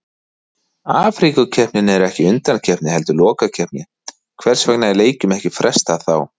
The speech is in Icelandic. Afríkukeppnin er ekki undankeppni heldur lokakeppni, hvers vegna er leikjum ekki frestað þá?